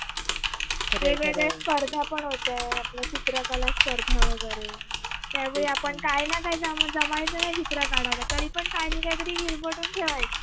वेगवेगळ्या स्पर्धा पण होत्या आपल्या चित्रकला स्पर्धा वगरे त्यावेळी आपण काही न काही जमायचं नाही चित्र काढायला तरी पण काहीना काहीतरी हिरबडून ठेवायचं